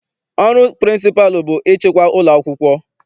Ọrụ pịrịnsịpalụ bụ ịchịkwa ụlọakwụkwọ.